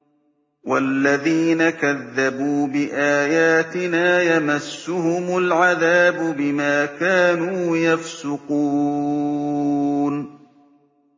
وَالَّذِينَ كَذَّبُوا بِآيَاتِنَا يَمَسُّهُمُ الْعَذَابُ بِمَا كَانُوا يَفْسُقُونَ